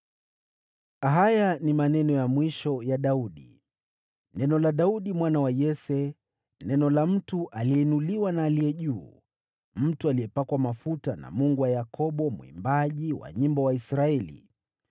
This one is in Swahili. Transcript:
Haya ni maneno ya mwisho ya Daudi: “Neno la Daudi mwana wa Yese, neno la mtu aliyeinuliwa na Aliye Juu Sana, mtu aliyepakwa mafuta na Mungu wa Yakobo, mwimbaji wa nyimbo wa Israeli: